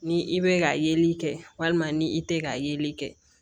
Ni i bɛ ka yeli kɛ walima ni i tɛ ka yeli kɛ